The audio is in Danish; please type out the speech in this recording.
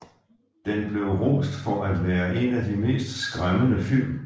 Den blev rost for at være en af de mest skræmmende film